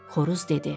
Xoruz dedi: